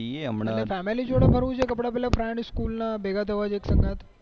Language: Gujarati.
આપડે પેલા મિત્રો સાથે